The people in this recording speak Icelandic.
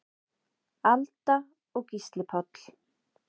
Alda og Gísli Páll.